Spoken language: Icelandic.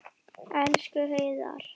Elsku Heiðar.